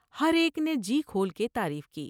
ہر ایک نے جی کھول کے تعریف کی ۔